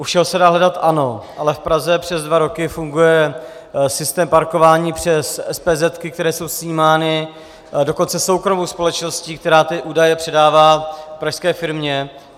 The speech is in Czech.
U všeho se dá hledat, ano, ale v Praze přes dva roky funguje systém parkování přes espézetky, které jsou snímány, dokonce soukromou společností, která ty údaje předává pražské firmě.